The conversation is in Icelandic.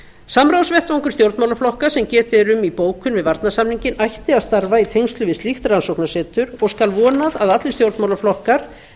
samráðsvettvangur stjórnmálaflokka sem getið er um í bókun við varnarsamninginn ætti að starfa í tengslum við slíkt rannsóknasetur og skal vonað að allir stjórnmálaflokkar